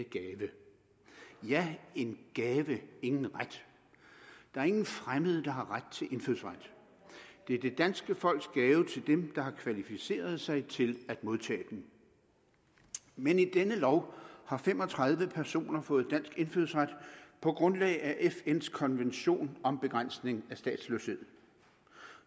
gave ja en gave ingen ret der er ingen fremmede der har ret til indfødsret det er det danske folks gave til dem der har kvalificeret sig til at modtage den men i denne lov har fem og tredive personer fået dansk indfødsret på grundlag af fns konvention om begrænsning af statsløshed